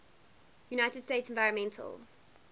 united states environmental